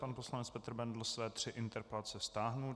Pan poslanec Petr Bendl své tři interpelace stáhl.